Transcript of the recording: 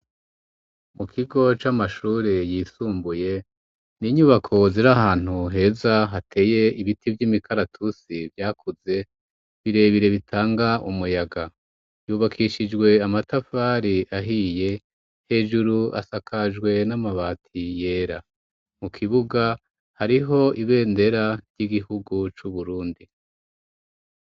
Mu kigo c'amashuri yisumbuye ni inyubako ziri ahantu heza hateye ibiti bvy'imikaratusi vyakuze birebire bitanga umuyaga. Yubakishijwe amatafari ahiye hejuru asakajwe n'amabati yera. Mu kibuga hariho ibendera ry'igihugu c'Uburundi.